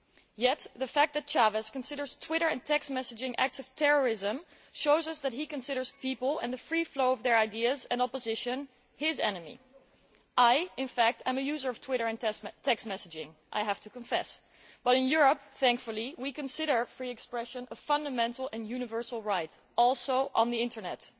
Yet the fact that Chávez considers Twitter and text messaging as acts of terrorism shows us that he considers people and the free flow of their ideas and opposition as his enemy. I am a user of Twitter and text messaging, I have to confess, but in Europe, thankfully, we consider free expression a fundamental and universal right, including on the Internet.